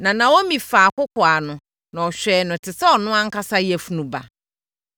Na Naomi faa akɔkoaa no, na ɔhwɛɛ no te sɛ ɔno ankasa yafunu ba.